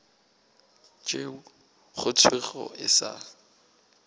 tšeo go thwego e sa